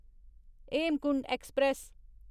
Hemkunt express